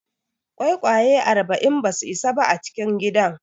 Ƙwaiƙwaye arba'in ba zasu isa ba a cikin gidan.